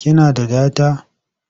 Ki na da data?